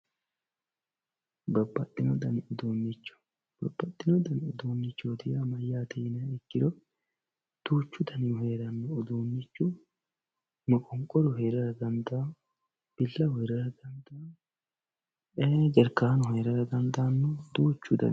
babbaxino dani uduunnicho babbaxino dani uduunnicho yaa mayyate yiniha ikkkiro duuchu danihu heeranno uduunnichu, moqonqoru heerara dandaanno billawu heerara dandaanno, ee jarkaanu heerara dandaanno duuchu danaati.